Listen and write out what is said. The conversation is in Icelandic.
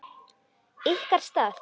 Ykkar stað?